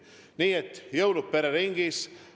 Nii et jõulud pereringis!